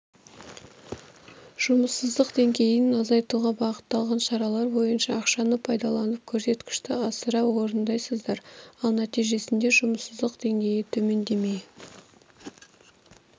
жұмыссыздық деңгейін азайтуға бағытталған шаралар бойынша ақшаны пайдаланып көрсеткішті асыра орындайсыздар ал нәтижесінде жұмыссыздық деңгейі төмендемей